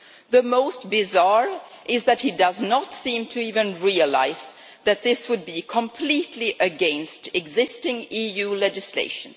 The most bizarre thing is that he does not seem to even realise that this would be completely against existing EU legislation.